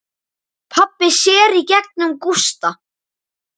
Pabbi sér í gegnum Gústa.